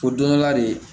O don dɔ la de